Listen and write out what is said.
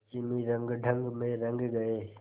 पश्चिमी रंगढंग में रंग गए